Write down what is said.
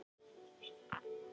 Jón Ólafur fylgdi í kjölfarið.